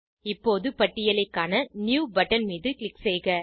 இப்போது பட்டியலைக் காண நியூ பட்டன் மீது க்ளிக் செய்க